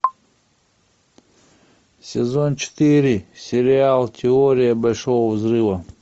сезон четыре сериал теория большого взрыва